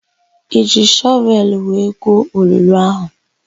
I jiri shọvelụ wee guo olulu áhụ̀?